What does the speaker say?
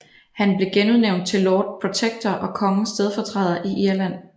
Han blev genudnævnt til Lord Protector og kongens stedfortræder i Irland